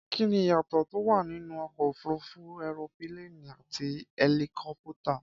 Kí ni ìyàtọ̀ tó wà nínú ọkọ̀ òfúrufú ẹropíléènì àti ẹlikọ́pútà?